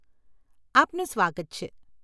આપનું સ્વાગત છે .